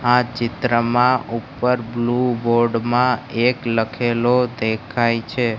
આ ચિત્રમાં ઉપર બ્લુ બોર્ડ મા એક લખેલુ દેખાય છે.